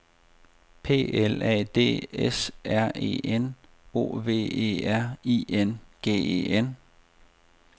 P L A D S R E N O V E R I N G E N